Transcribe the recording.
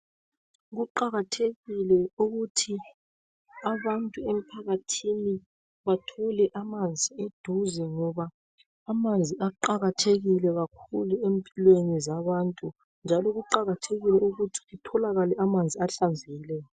Kuqakathekile ukuthi abantu emphakathini bathole amanzi eduze ngoba amanzi aqakathekile kakhulu empilweni zabantu, njalo kuqakathekile ukuthi kutholakale amanzi ahlanzekileyo.